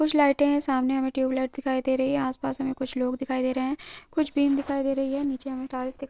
कुछ लाइटे है सामने हमें ट्यूबलाइट दिखाई दे रही है आस पास हमे कुछ लोग दिखाई दे रहै है कुछ बीम दिखाई दे रही है नीचे हमे टाइल्स दिख --